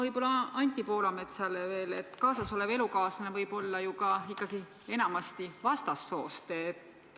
Ütleksin Anti Poolametsale veel seda, et kaasas olev elukaaslane on enamasti vastassoost.